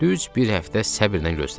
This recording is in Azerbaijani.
Düz bir həftə səbrlə gözlədi.